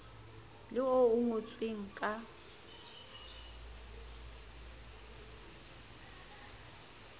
le oo o ngotseng ka